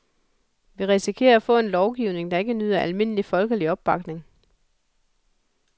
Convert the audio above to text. Vi risikerer at få en lovgivning, der ikke nyder almindelig folkelig opbakning.